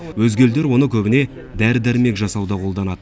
өзге елдер оны көбіне дәрі дәрмек жасауда қолданады